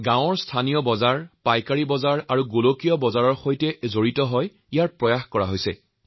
গাঁৱৰ স্থানীয় বজাৰ পাইকাৰী বজাৰ যাতে বিশ্ব বজাৰৰ সৈতে সংযুক্ত হয় তাৰো চেষ্টা চলিছে